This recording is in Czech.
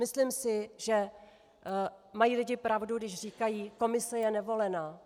Myslím si, že mají lidé pravdu, když říkají: Komise je nevolená.